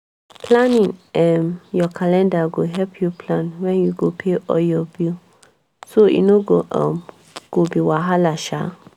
planning um your calender go help you plan when you go pay all your bill so e no um go be wahala. um